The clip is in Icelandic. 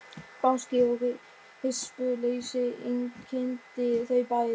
Gáski og hispursleysi einkenndi þau bæði.